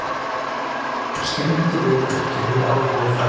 Skyndilegur kuldi hefur áhrif á færð